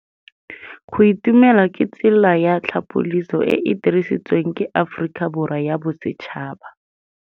Go itumela ke tsela ya tlhapolisô e e dirisitsweng ke Aforika Borwa ya Bosetšhaba.